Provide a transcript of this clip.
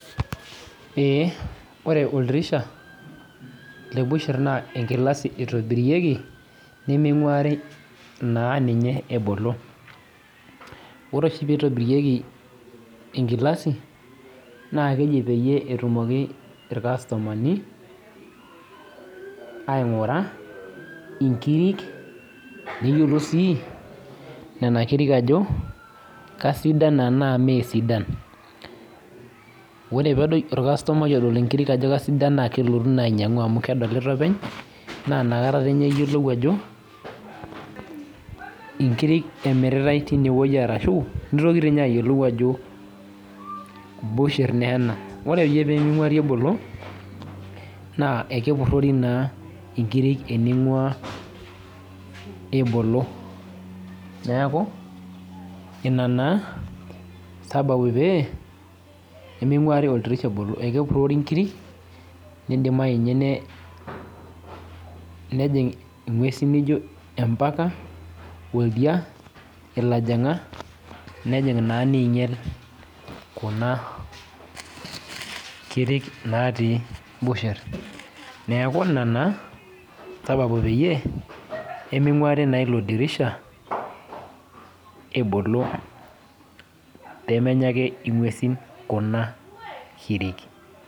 Ee, ore oldirisha, le busher naa enkilasi itobirieki niming'uari naa ninye ebolo. Ore oshi pitobirieki enkilasi, na keji peyie etumoki irkastomani, aing'ura inkirik, neyiolou si nena kirik ajo, kesidan enaa mesidan. Ore pedoi orkastomai odol inkirik ajo kasidan na kelotu naa ainyang'u amu kedolita openy, na nakata nye eyiolou ajo, inkirik emiritai tinewueji arashu, nitoki tinye ayiolou ajo busher neena. Ore ake peming'uari ebolo, naa ekepurrori naa tening'uaa ebolo. Neeku, ina naa sababu pee, peming'uari oldirisha ebolo. Ekepurrori nkirik, nidimayu nye nejing' ing'uesin nijo empaka, oldia, ilajang'a, nejing' naa neinyal kuna kirik natii busher. Neeku ina naa, sababu peyie, peming'uari naa ilo dirisha, ebolo pemenya ake ing'uesin kuna kirik.